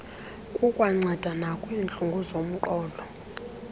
kukwanceda nakwiintlungu zomqolo